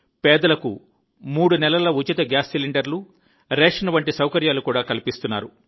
పేదలకు మూడు నెలల ఉచిత గ్యాస్ సిలిండర్లు రేషన్ వంటి సౌకర్యాలు కూడా కల్పిస్తున్నారు